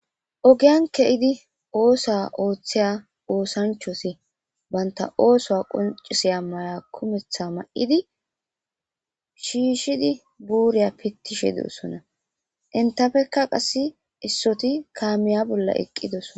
ogiyan ke7idi oosa ooththiya oosanchosi banta ooso qoncisiya maya kumetha ma7idi shiishidi buuriya pittishe dossona intafekka qass issoti kaamiya bolla eqqidoso